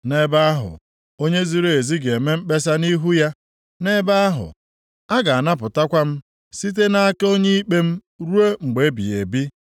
Nʼebe ahụ, onye ziri ezi ga-eme mkpesa nʼihu ya. Nʼebe ahụ, a ga-anapụtakwa m site nʼaka onye ikpe m rụọ mgbe ebighị ebi.